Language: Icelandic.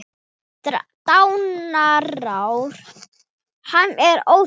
Dánarár hans er óþekkt.